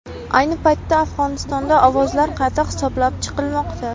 Ayni paytda Afg‘onistonda ovozlar qayta hisoblab chiqilmoqda.